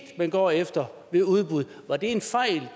man går efter ved udbud var det en fejl